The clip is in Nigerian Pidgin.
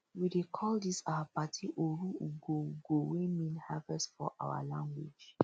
we dey call dis our party oru ugwo ugwo wey mean harvest for our language